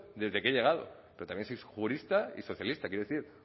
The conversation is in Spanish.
desde que he llegado pero también soy jurista y socialista quiero decir